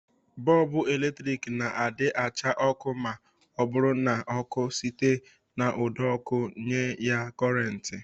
Bọlbụ eletrik na-adị acha ọkụ ma ọ bụrụ na ọkụ site n'ụdọọkụ nye ya kọrentị